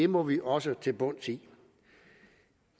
må vi også til bunds i